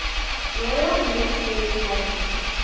royal military academy